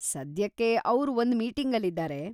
ಸದ್ಯಕ್ಕೆ ಅವ್ರು ಒಂದ್ ಮೀಟಿಂಗಲ್ಲಿದಾರೆ.